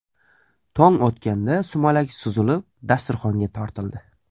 Tong otganda sumalak suzilib, dasturxonga tortildi.